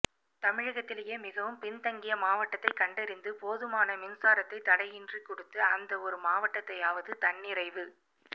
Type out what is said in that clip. தமிழகத்திலேயே மிகவும் பின்தங்கிய மாவட்டத்தைக் கண்டறிந்து போதுமான மின்சாரத்தை தடையின்றிக் கொடுத்து அந்த ஒரு மாவட்டத்தையாவது தன்னிறைவு